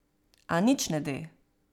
A nič ne de.